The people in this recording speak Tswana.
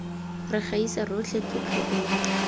re gaisa rotlhe tlotlo eno